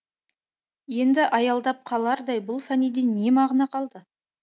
енді аялдап қалардай бұл фәниде не мағына қалды